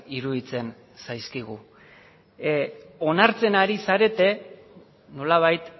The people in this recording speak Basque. iruditzen zaizkigu onartzen ari zarete nolabait